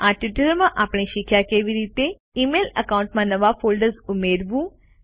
આ ટ્યુટોરીયલમાં આપણે શીખ્યા કે કેવી રીતે ઇમેઇલ એકાઉન્ટમાં નવા ફોલ્ડર્સ ઉમેરવું